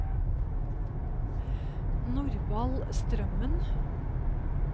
Norvald Strømmen